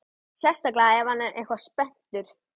Sérstaklega ef hann er eitthvað spenntur.